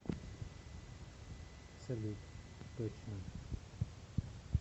салют точно